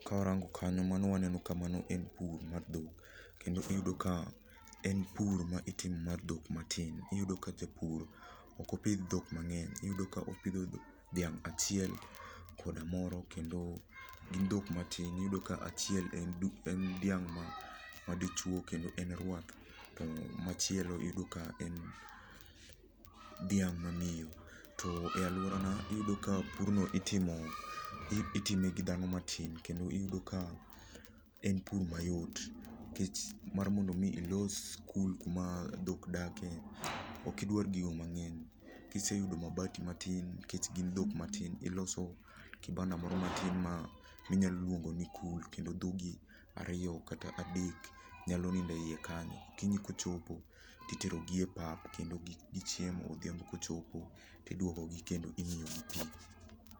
Kawarango kanyo mano waneno ka mano en pur mar dhok. Kendo iyudo ka en pur ma itimo mar dhok matin, iyudo ka japur ok opidh dhok mang'eny iyudo ka opidho dhiang' achiel, koda moro kendo gin dhok matin. Iyudo ka achiel en dhiang' madichuo kendo en rwath, to machielo iyudo ka en dhiang' mamiyo. To eluorana iyudo ka purno itime gi dhano matin kendo iyudo ka en pur mayot. Nikech mar mondo mi ilos kul kuma dhok dake ok idwar gigo mang'eny. Kise yudo mabati matin nikech gin dhok matin iloso kibanda moro matin ma inyalo luongoni kul kendo dhogi ariyo kata adek nyalo nindo eiye kanyo. Okinyi kochopo ti terogie pap kendo gi chiemo odhiambo kocho to iduogogi kendo imiyo gi pii.